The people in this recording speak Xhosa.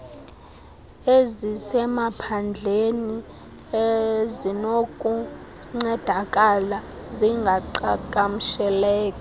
ezisemaphandleni ezinokuncedakala zingaqhagamsheleka